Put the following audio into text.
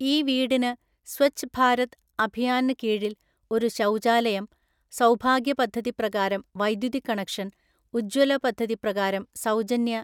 ഈ വീടിന് സ്വച്ഛ് ഭാരത് അഭിയാന് കീഴില്‍ ഒരു ശൗചാലയം, സൗഭാഗ്യ പദ്ധതി പ്രകാരം വൈദ്യുതി കണക്ഷന്‍, ഉജ്ജ്വല പദ്ധതി പ്രകാരം സൗജന്യ